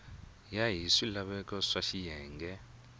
ya hi swilaveko swa xiyenge